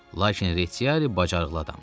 Lakin Retiari bacarıqlı adamdı.